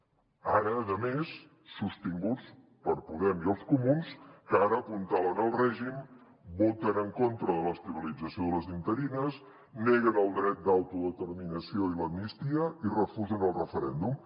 ara a més sostinguts per podem i els comuns que ara apuntalen el règim voten en contra de l’estabilització de les interines neguen el dret d’autodeterminació i l’amnistia i refusen el referèndum